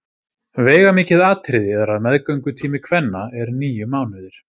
Veigamikið atriði er að meðgöngutími kvenna er níu mánuðir.